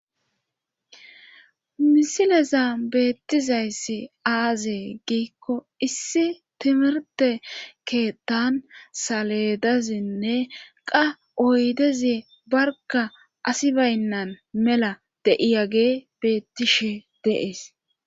misileza beettizayssi aazee giikko issi timirte keettan saledazinne qa oydezie barka asi baynnan mela de7iyage beettishe de'ees